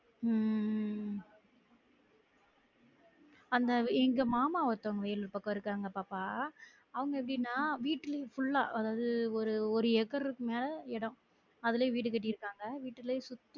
உம் அந்த எங்க மாமா ஒருத்தங்க இருக்காங்க பாப்பா அவங்க எப்படினா வீட்டுலையே full ஆ ஆஹ் அதாவது ஒரு ஒரு ஏக்கர்ருக்கு மேல எடம் அதுலயே வீடு கெட்டிருக்காங்க வீட்டுலே சுத்தி